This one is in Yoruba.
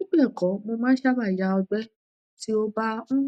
um bibẹẹkọ mo ma sabe ya ogbe ti o ba um